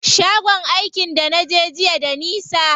Shagon aikin da naje jiya da nisa.